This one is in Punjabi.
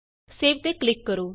ਸੇਵ ਤੇ ਕਲਿਕ ਕਰੋ